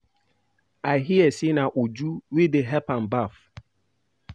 I hear say na Uju wey dey help am baff